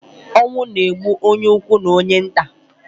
Onwu na-egbu onye ukwu na onye nta